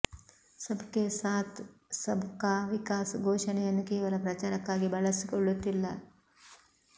ಸಬ್ ಕೆ ಸಾಥ್ ಸಬ್ ಕಾ ವಿಕಾಸ್ ಘೋಷಣೆಯನ್ನು ಕೇವಲ ಪ್ರಚಾರಕ್ಕಾಗಿ ಬಳಸಿಕೊಳ್ಳುತ್ತಿಲ್ಲ